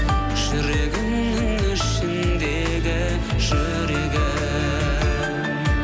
жүрегімнің ішіндегі жүрегім